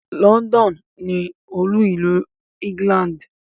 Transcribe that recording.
London ni olú-ìlú England.